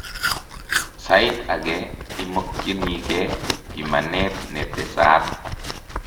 Sait age imokyinikee bimanet netesaat